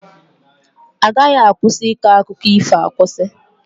A gaghị akwụsị ịkọ akụkọ ífò akwụsị.